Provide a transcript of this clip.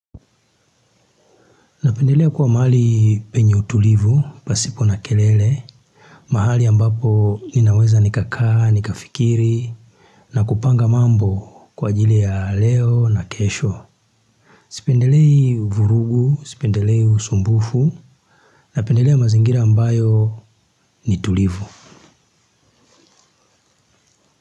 Napendelea kuwa mahali penye utulivu pasipo na kelele, mahali ambapo ninaweza nikakaa nikafikiri na kupanga mambo kwa ajili ya leo na kesho. Sipendelei vurugu, sipendelei usumbufu, napendelea mazingira ambayo ni tulivu.